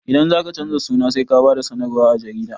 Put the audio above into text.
Idan zaka canza suna sai ka ba da sanarwa a jarida